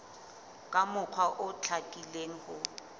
ka mokgwa o hlakileng ho